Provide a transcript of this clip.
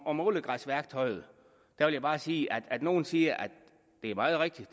om ålegræsværktøjet vil jeg bare sige at nogle siger at det er meget rigtigt